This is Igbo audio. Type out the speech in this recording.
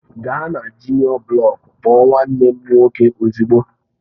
Gaa na juniọ blọku kpọọ nwanne m nwoke ozugbo!